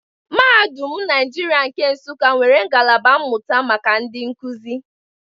Mahadum Naijiria nke Nsuka nwere ngalaba mmụta maka ndị nkuzi.